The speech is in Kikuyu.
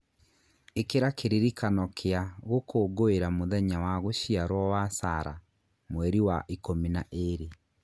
ĩkĩra kĩririkano kia gũkũngũĩra mũthenya wa gũciarwo wa Sarah Mweri wa ikũmi na ĩĩrĩ